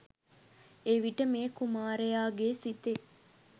එවිට මේ කුමාරයාගේ සිතේ